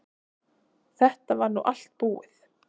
Þetta var þá allt búið.